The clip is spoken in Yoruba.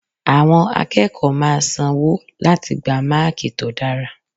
Àwọn akẹ́kọ̀ọ́ máa san wọ́ láti gba Máàkì tó dára.